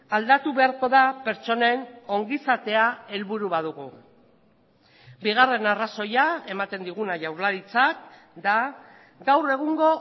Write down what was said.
aldatu beharko da pertsonen ongizatea helburu badugu bigarren arrazoia ematen diguna jaurlaritzak da gaur egungo